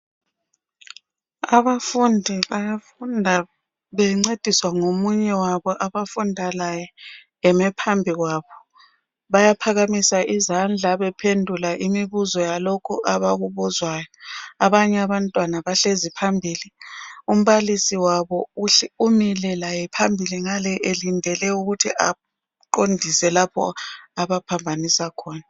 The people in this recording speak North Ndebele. Abafundi bayafunda bencediswa ngomunye wabo abafunda laye eme phambi kwabo. Bayaphakamisa izandla bephendula imibuzo yalokho abakubuzwayo. Abanye abantwana bahlezi phambili. Umbalisi wabo umile laye phambili ngale elindele ukuthi aqondise lapho abaphambanisa khona.